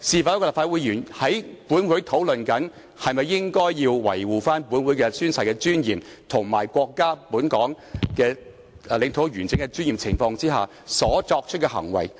當立法會議員在本會討論維護本會宣誓的尊嚴及國家與香港領土完整的尊嚴的情況下，這又是否應該作出的行為呢？